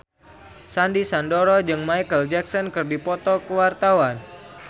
Sandy Sandoro jeung Micheal Jackson keur dipoto ku wartawan